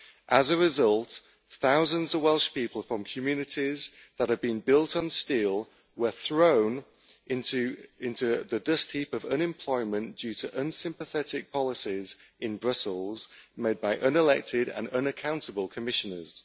As a result, thousands of Welsh people from communities that have been built on steel were thrown into the dust heap of unemployment due to unsympathetic policies in Brussels made by unelected and unaccountable Commissioners.